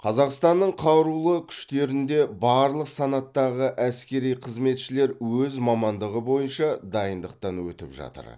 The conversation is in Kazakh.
қазақстанның қарулы күштерінде барлық санаттағы әскери қызметшілер өз мамандығы бойынша дайындықтан өтіп жатыр